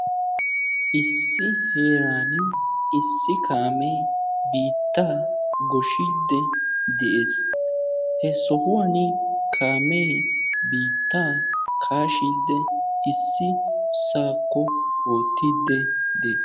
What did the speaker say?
Issi heeran issi kaame biitta goyiydde dee'ees. He sohuwan issi kaamee biitta kaashshiddi de'ees.